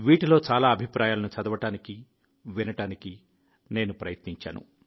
వీటిలో చాలా అభిప్రాయాలను చదవడానికి వినడానికి నేను ప్రయత్నించాను